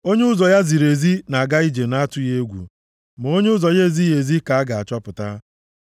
Onye ụzọ ya ziri ezi na-aga ije nʼatụghị egwu, ma onye ụzọ ya ezighị ezi ka a ga-achọpụta.